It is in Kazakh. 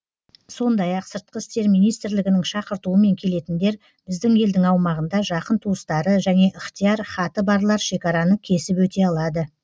сондай ақ сыртқы істер министрлігінің шақыртуымен келетіндер біздің елдің аумағында жақын туыстары және ыхтияр хаты барлар шекараны кесіп өте алады